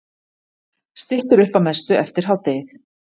Styttir upp að mestu eftir hádegið